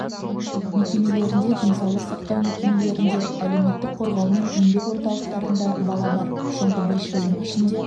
мекемелерінде денсаулық сақтау мекемелерінде әлеуметтік қорғау мен еңбек орталықтарында бала бар соңғы бес жылдың ішінде